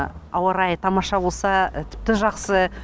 ауа райы тамаша болса тіпті жақсы